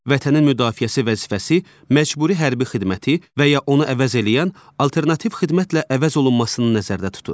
Vətənin müdafiəsi vəzifəsi məcburi hərbi xidməti və ya onu əvəz eləyən alternativ xidmətlə əvəz olunmasını nəzərdə tutur.